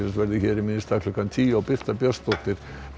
verður hér í minn stað klukkan tíu og Birta Björnsdóttir